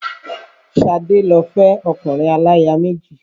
Ṣadé lọ fẹ́ ọkùnrin aláya méjì